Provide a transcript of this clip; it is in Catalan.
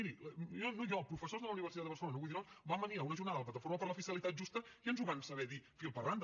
miri no jo professors de la universitat de barcelona no vull dir noms van venir a una jornada de la plataforma per la fiscalitat justa i ens ho van saber dir fil per randa